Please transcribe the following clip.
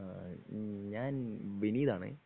ഏഹ് ഞാൻ വിനീതാണ്